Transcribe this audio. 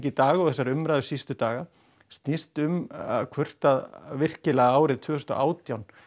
í dag og þessari umræðu síðustu daga snýst um að hvort að virkilega árið tvö þúsund og átján